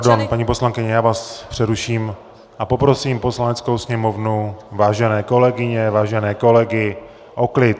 Pardon, paní poslankyně, já vás přeruším a poprosím Poslaneckou sněmovnu, vážené kolegyně, vážené kolegy o klid!